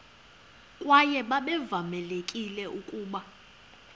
kwaye babevamelekile ukuba